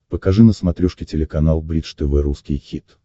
покажи на смотрешке телеканал бридж тв русский хит